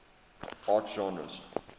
art genres